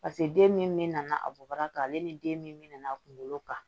Paseke den min nana a bɔbaga kan ale ni den min nana a kunkolo kan